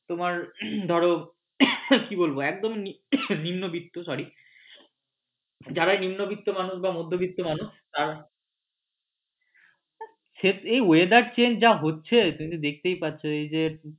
তোমার ধরো কি বলবো একদম নিম্নবিত্ত sorry যারা নিম্নবিত্ত মানুষ বা মধ্যবিত্ত মানুষ আহ এ weather change যা হচ্ছে তুমি তো দেখতেই পাচ্ছ